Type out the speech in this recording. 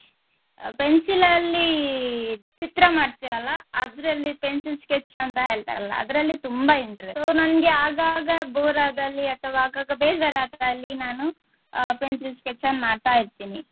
Pencil ಅಲ್ಲಿ ಚಿತ್ರ ಮಾಡ್ತೀರಲ್ಲ ಅದ್ರಲ್ಲಿ pencil sketch ಅಂತ ಹೇಳ್ತರಲ್ಲ ಅದರಲ್ಲಿ ತುಂಬಾ interest. So ನಂಗೆ ಆಗಾಗ bore ಆದಾಲ್ಲಿ ಅಥವಾ ಆಗಾಗ ಬೇಜಾರ್ ಆದಲ್ಲಿ ನಾನು ಆ pencil sketch ನ ಮಾಡ್ತಾ ಇರ್ತೀನಿ.